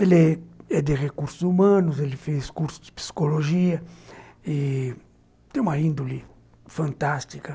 Ele é de Recursos Humanos, ele fez curso de psicologia e tem uma índole fantástica.